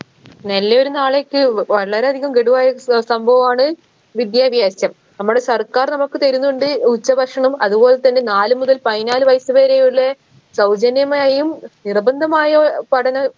നല്ലയൊരു നാളേയ്ക്ക് വളരെയധികം ഗഡു ആയ സസംഭവമാണ് വിദ്യാഭ്യാസം നമ്മുടെ സർക്കാർ നമുക്ക് തരുന്നുണ്ട് ഉച്ച ഭക്ഷണം അതുപോൽത്തന്നെ നാലു മുതൽ പയിനാല് വയസ്സ് വരെയുള്ള സൗജന്യമായും നിർബന്ധമായും പഠനം